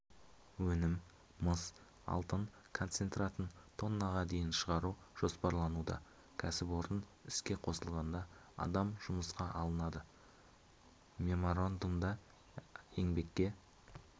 өнім мыс-алтын концентратын тоннаға дейін шығару жоспарлануда кәсіпорын іске қосылғанда адам жұмысқа алынады меморандумда еңбекке